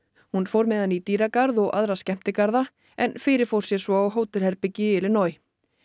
hún fór með hann í dýragarð og aðra skemmtigarða en fyrirfór sér svo á hótelherbergi í Illinois